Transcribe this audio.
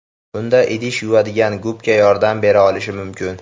Bunda idish yuvadigan gubka yordam bera olishi mumkin.